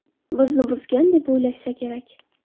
Bizni buzgan deb o‘ylashsa kerak.